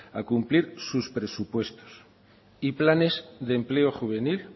a cumplir sus presupuestos y planes de empleo juvenil